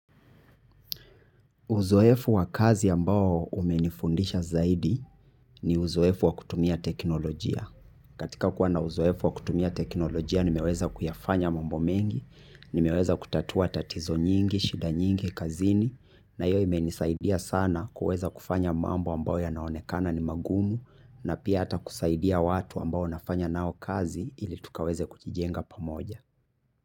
Uzoefu wa kazi ambao umenifundisha zaidi ni uzoefu wa kutumia teknolojia. Katika kuwana uzoefu wa kutumia teknolojia nimeweza kuyafanya mambo mengi, nimeweza kutatua tatizo nyingi, shida nyingi, kazini na hiyo imenisaidia sana kuweza kufanya mambo ambayo ya naonekana ni magumu na pia hata kusaidia watu ambao nafanya nao kazi ili tukaweze kujijenga pa moja.